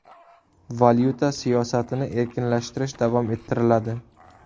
Valyuta siyosatini erkinlashtirish davom ettiriladi.